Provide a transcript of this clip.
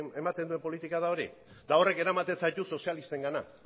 ematen duen politika da hori eta horrek eramaten zaitu sozialistengana